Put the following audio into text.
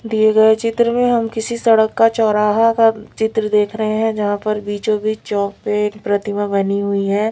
दिए गए चित्र में हम किसी सड़क का चौराहा का चित्र देख रहे है जहां पर बीचोंबीच चौक पे एक प्रतिमा बनी हुई है।